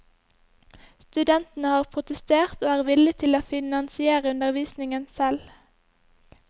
Studentene har protestert og er villige til å finansiere undervisningen selv.